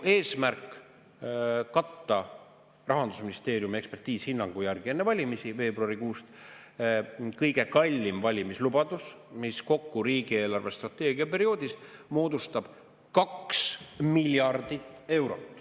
Eesmärk on ju katta – Rahandusministeeriumi enne valimisi, veebruarikuust pärit ekspertiishinnangu järgi – kõige kallimat valimislubadust, mis riigi eelarvestrateegia perioodil moodustab kokku 2 miljardit eurot.